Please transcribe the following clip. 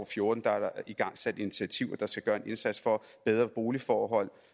fjorten er der igangsat initiativer hvor der skal gøres en indsats for bedre boligforhold